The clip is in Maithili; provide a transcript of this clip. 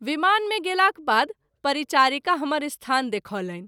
विमान मे गेलाक बाद परिचारिका हमर स्थान देखौलनि।